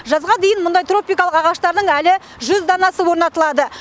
жазға дейін мұндай тропикалық ағаштардың әлі жүз данасы орнатылады